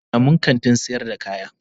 Ni da abokina mun kantin sayar kaya.